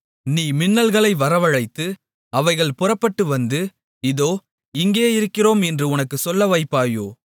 நீ மின்னல்களை வரவழைத்து அவைகள் புறப்பட்டுவந்து இதோ இங்கேயிருக்கிறோம் என்று உனக்குச் சொல்ல வைப்பாயோ